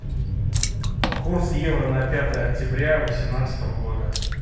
курс евро на пятое октября восемнадцатого года